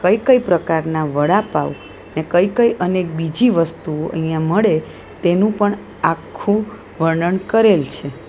કઈ-કઈ પ્રકારના વડાપાવ ને કઈ કઈ અનેક બીજી વસ્તુ અહીંયા મળે તેનું પણ આખું વર્ણન કરેલ છે.